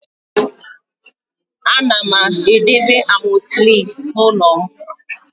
Ana m edebe amoxicillin n'ụlọ m